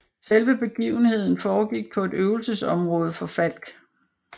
Selve begivenheden foregik på et øvelsesområde for Falck